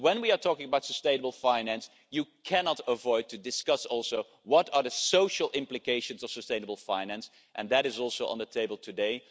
When we are talking about sustainable finance, you cannot avoid discussing what the social implications of sustainable finance are, and that too is on the table today.